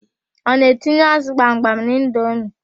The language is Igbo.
Ọ na-etinye ázụ̀ gbamgbam n'indomi?